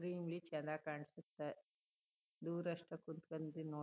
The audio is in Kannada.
ಚನ್ನಾಗ್ ಕಾಣ್ಸುತ್ತೆ ದೂರ ಅಷ್ಟು ಕುತ್ಕೊಂದಿ ನೋಡಿ--